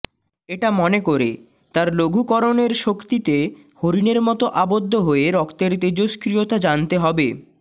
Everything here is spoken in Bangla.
এটা মনে করে তার লঘুকরণের শক্তিতে হরিণের মতো আবদ্ধ হয়ে রক্তের তেজস্ক্রিয়তা জানতে হবে